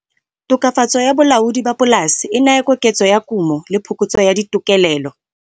Tokafatso ya bolaodi ba polase e naya koketso ya kumo le phokotso ya ditokelelo.